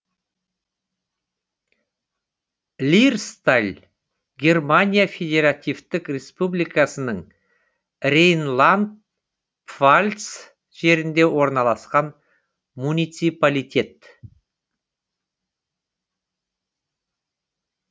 лирсталь германия федеративтік республикасының рейнланд пфальц жерінде орналасқан муниципалитет